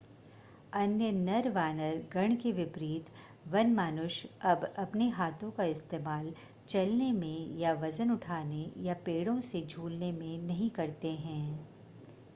अन्य नरवानर गण के विपरीत वनमानुष अब अपने हाथों का इस्तेमाल चलने में या वज़न उठाने या पेड़ों से झूलने में नहीं करते हैं